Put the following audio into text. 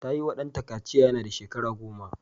Ta yiwa ɗanta kaciya yana da shekara goma.